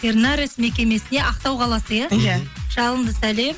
тернарес мекемесіне ақтау қаласы иә иә мхм жалынды сәлем